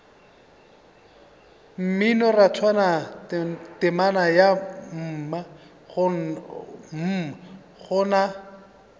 mminorathwana temana ya mm gona